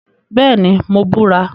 Bẹẹni, Mo bura